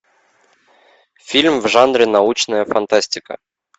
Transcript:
фильм в жанре научная фантастика